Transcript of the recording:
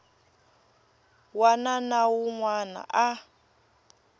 wana na wun wana a